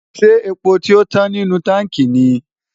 ṣé epo tio tán nínú táǹkì ni?